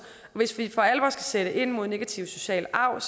hvis vi for alvor skal sætte ind mod negativ social arv